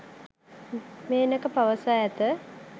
මේනක පවසා ඇත